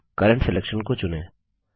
अब current selection को चुनें